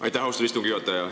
Aitäh, austatud istungi juhataja!